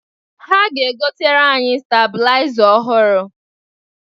Ha ga-egotere anyị stabụlaịza ọhụrụ.